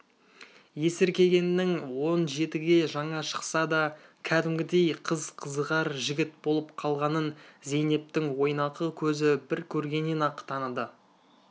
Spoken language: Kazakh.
есіркегеннің он жетіге жаңа шықса да кәдімгідей қыз қызығар жігіт болып қалғанын зейнептің ойнақы көзі бір көргеннен-ақ таныды